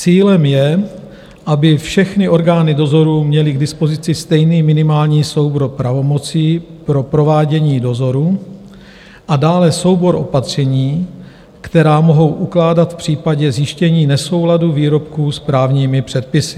Cílem je, aby všechny orgány dozoru měly k dispozici stejný minimální soubor pravomocí pro provádění dozoru a dále soubor opatření, která mohou ukládat v případě zjištění nesouladu výrobků s právními předpisy.